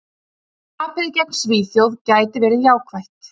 Tapið gegn Svíþjóð gæti verið jákvætt.